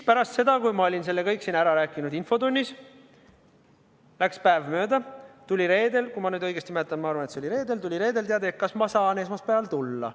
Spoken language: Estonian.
Pärast seda, kui olin selle kõik siin infotunnis ära rääkinud, läks päev mööda, tuli reedel – kui ma nüüd õigesti mäletan, aga ma arvan, et see oli reede – teade, et kas ma saan esmaspäeval tulla.